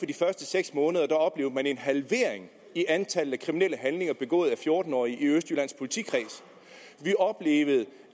de første seks måneder oplevede man en halvering i antallet af kriminelle handlinger begået af fjorten årige i østjyllands politikreds vi oplevede